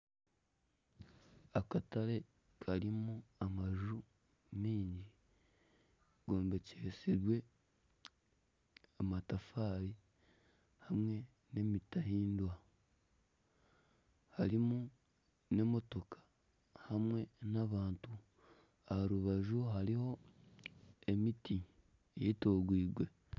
Akatare karimu amanju maingi gombekyisibwe amatafaari hamwe n'emiteehimbwa harimu n'emotooka hamwe n'abantu aha rubaju hariho emiti eyetoraire.